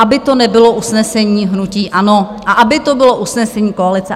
Aby to nebylo usnesení hnutí ANO a aby to bylo usnesení koalice.